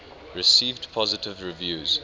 received positive reviews